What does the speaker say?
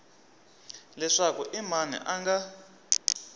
leswaku i mani a nga